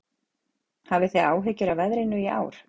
Hafið þið áhyggjur af veðrinu í ár?